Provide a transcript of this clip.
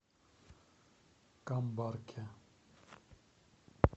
камбарке